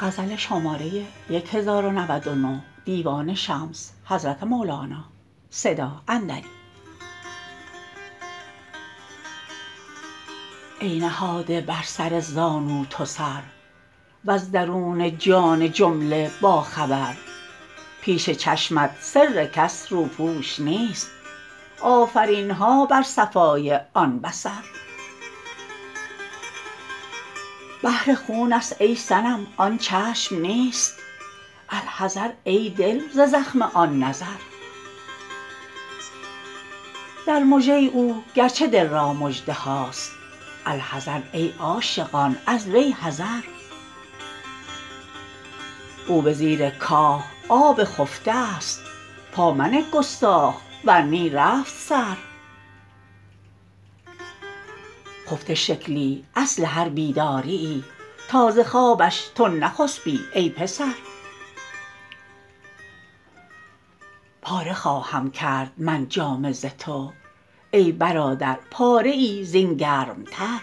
ای نهاده بر سر زانو تو سر وز درون جان جمله باخبر پیش چشمت سرکش روپوش نیست آفرین ها بر صفای آن بصر بحر خونست ای صنم آن چشم نیست الحذر ای دل ز زخم آن نظر در مژه او گرچه دل را مژده هاست الحذر ای عاشقان از وی حذر او به زیر کاه آب خفته ست پا منه گستاخ ور نی رفت سر خفته شکلی اصل هر بیدادیی تا ز خوابش تو نخسپی ای پسر پاره خواهم کرد من جامه ز تو ای برادر پاره ای زین گرمتر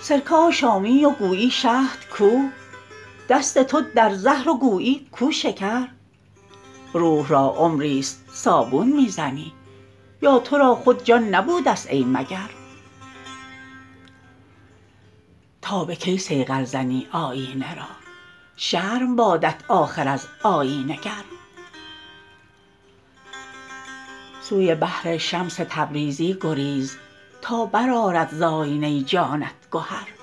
سرکه آشامی و گویی شهد کو دست تو در زهر و گویی کو شکر روح را عمریست صابون می زنی یا تو را خود جان نبودست ای مگر تا به کی صیقل زنی آیینه را شرم بادت آخر از آیینه گر سوی بحر شمس تبریزی گریز تا برآرد ز آینه جانت گهر